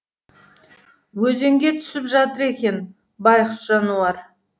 өзенге түсіп жатыр екен байғұс жануар